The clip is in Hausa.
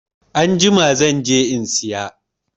Anjima zan je in saya.